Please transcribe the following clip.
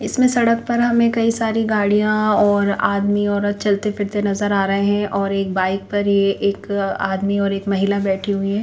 इसमें सड़क पर हमें कई सारी गाडियाँ और आदमी औरत चलते फिरते नजर आ रहे हैं और एक बाइक पर ये एक आदमी और एक महिला बेठी हुई है।